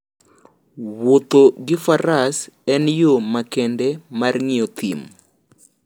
Wuotho gi Faras en yo makende mar ng'iyo thim.